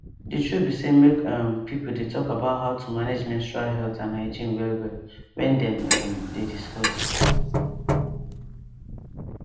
the truth be say make um people dey talk about how to manage menstrual health and hygiene well well wen them um dey discuss